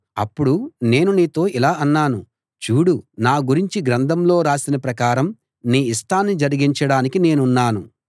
అప్పుడు నేను నీతో ఇలా అన్నాను చూడు నా గురించి గ్రంథంలో రాసిన ప్రకారం నీ ఇష్టాన్ని జరిగించడానికి నేనున్నాను